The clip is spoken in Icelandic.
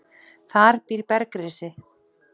Þar býr bergrisi.